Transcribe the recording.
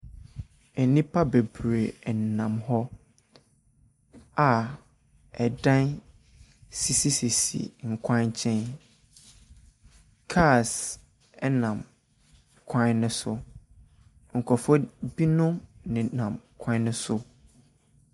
Nnipa bebree nenam hɔ a ɛdan sisisisi nkwankyɛn. Cars ɛnam kwan no so. Nkrɔfoɔ binom nenam kwan no so.